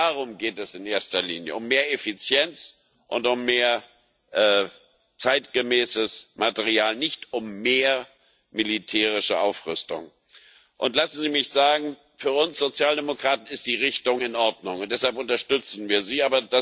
Darum geht es in erster Linie um mehr Effizienz und um mehr zeitgemäßes Material, nicht um mehr militärische Aufrüstung. Und lassen Sie mich sagen Für uns Sozialdemokraten ist die Richtung in Ordnung, und deshalb unterstützen wir Sie.